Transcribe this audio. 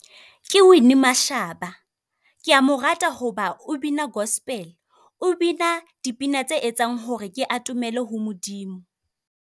Ke Winnie Mashaba, ke a mo rata, hoba o bina Gospel. O bina dipina tse etsang hore ke atomele ho Modimo.